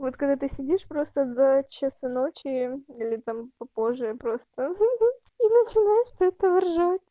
вот когда ты сидишь просто до часу ночи или там попозже просто хе-хе и начинаешь с этого ржать